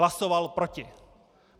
Hlasoval proti!